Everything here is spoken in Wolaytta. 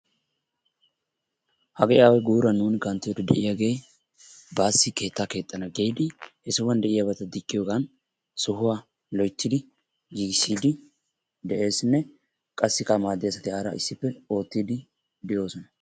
Hagee away guuran nu kanttiyoode de'iyagee baassi keettaa keexxana giidi he sohuwaan de'iyaabata diggiyoogan sohuwaa loyttidi giigisiidi de'eesinne qassikka anaaxiyaara issippe oottiidi de'oosona.